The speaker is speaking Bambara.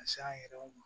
Ka se an yɛrɛw ma